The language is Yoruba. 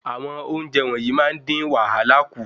Àwọn ounjẹ wọnyii máa n din wàhálà ku